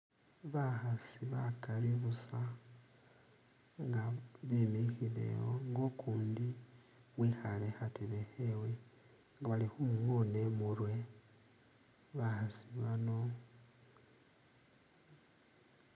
Bakhasi bakali busa nga bimikhile wo nga ukundi wikhale khukhatebe khewe nga bali khumungona imurwe bakhasi bano